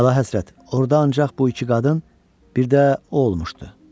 Əlahəzrət, orda ancaq bu iki qadın, bir də o olmuşdu.